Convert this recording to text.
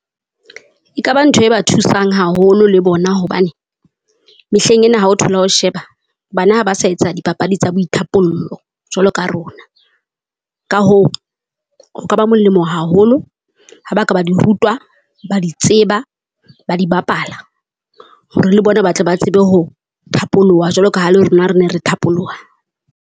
Ekaba ntho e ba thusang haholo le bona hobane, mehleng ena ha o thola o sheba, bana ha ba sa etsa dipapadi tsa boithapollo jwalo ka rona. Ka hoo ho ka ba molemo haholo ha ba ka ba di rutwa, ba di tseba, ba di bapala. Hore le bona ba tle ba tsebe ho phapoloha jwalo ka ha le rona re ne re thapoloha.